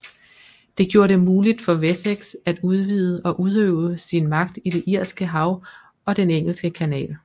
Det gjorde det muligt for Wessex at udvide og udøve sin magt i det Irske Hav og den Engelske Kanal